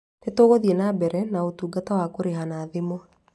Ni tũgũthiĩ na mbere na ũtungata wa kũrĩha na thimũ